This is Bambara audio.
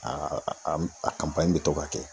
Aa a m a kanpanɲi be to ka kɛ